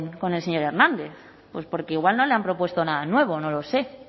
con el señor hernández pues porque igual no le han propuesto nada nuevo no lo sé